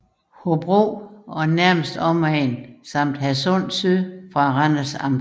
Hobro og nærmeste omegn samt Hadsund Syd fra Randers Amt